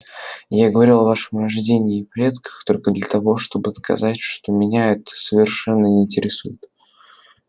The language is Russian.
я говорил о вашем рождении и предках только для того чтобы доказать что меня это совершенно не интересует